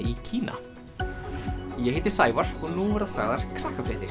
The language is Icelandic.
í Kína ég heiti Sævar og nú verða sagðar